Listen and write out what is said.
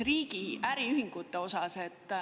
… riigi äriühinguid.